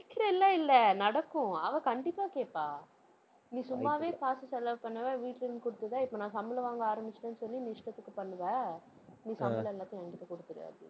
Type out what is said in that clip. நினைக்கிறேன் எல்லாம் இல்லை நடக்கும். அவ கண்டிப்பா கேட்பா நீ சும்மாவே காசு செலவு பண்ணுவ வீட்டுல இருந்து குடுத்து தான் இப்ப நான் சம்பளம் வாங்க ஆரம்பிச்சுட்டேன்னு சொல்லி நீ இஷ்டத்துக்கு பண்ணுவ நீ சம்பளம் எல்லாத்தையும் என்கிட்ட குடுத்துரு அப்படின்னுட்டு.